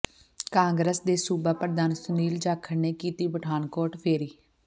ਕਾਂਗਰਸ ਦੇ ਸੂਬਾ ਪ੍ਰਧਾਨ ਸੁਨੀਲ ਜਾਖੜ ਨੇ ਕੀਤੀ ਪਠਾਨਕੋਟ ਫੇਰੀ